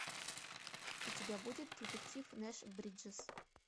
у тебя будет детектив нэш бриджес